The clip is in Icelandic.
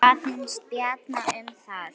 Hvað fannst Bjarna um það?